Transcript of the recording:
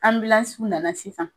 nana sisan